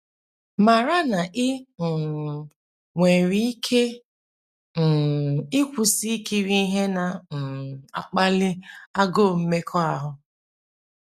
Mara na i um nwere ike um ịkwụsị ikiri ihe na um - akpali agụụ mmekọahụ.